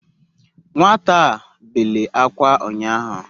Nwata a bele akwa unyahu